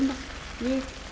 verið